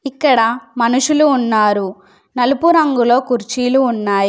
ఇక్కడ మనుషులు ఉన్నారు నలుపు రంగులో కుర్చీలు ఉన్నాయి.